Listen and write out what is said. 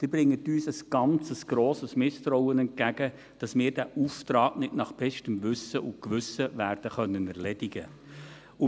Sie bringen uns ein ganz grosses Misstrauen entgegen, wonach wir diesen Auftrag nicht nach bestem Wissen und Gewissen werden erledigen können.